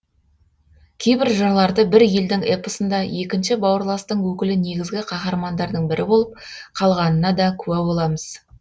кейбір жырларды бір елдің эпосында екінші бауырластың өкілі негізгі қаһармандардың бірі болып қалғанына да куә боламыз